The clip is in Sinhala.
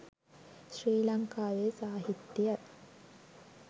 ශ්‍රී ලංකාවේ සාහිත්‍යය